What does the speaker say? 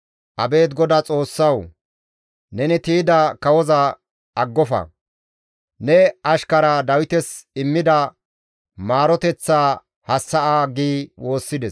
Abeet GODAA Xoossawu! Neni tiyda kawoza aggofa. Ne ashkara Dawites immida maaroteththaa hassa7a» gi woossides.